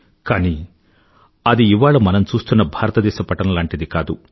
కానీ అది ఇవాళ మనం చూస్తున్న భారతదేశ పటం లాంటిది కాదు